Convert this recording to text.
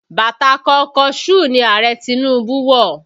Bàtà kọnkọṣúù ni Ààrẹ Tinubu wọ̀